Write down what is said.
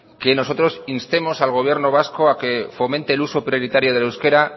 que nosotros instemos al gobierno vasco a que fomente el uso prioritario del euskera